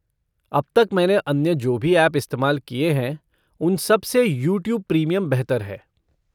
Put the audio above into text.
अब तक मैंने अन्य जो भी ऐप इस्तेमाल किए हैं उन सब से यूट्यूब प्रीमियम बेहतर है।